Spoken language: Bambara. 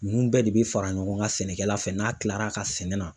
Ninnu bɛɛ de bɛ fara ɲɔgɔn kan sɛnɛkɛla fɛ n'a tilara ka sɛnɛ na.